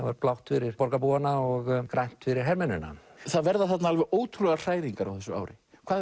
blátt fyrir borgarbúana og grænt fyrir hermennina það verða þarna ótrúlegar hræringar á þessu ári hvað